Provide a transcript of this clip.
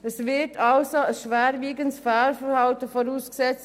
Es wird also ein schwerwiegendes Fehlverhalten vorausgesetzt.